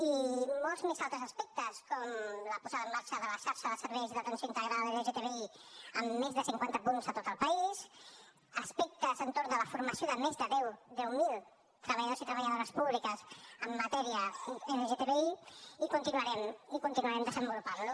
i molts més altres aspectes com la posada en marxa de la xarxa de serveis d’atenció integrada lgtbi amb més de cinquanta punts a tot el país aspectes entorn de la formació de més de deu mil treballadors i treballadores públiques en matèria lgtbi i continuarem i continuarem desenvolupant lo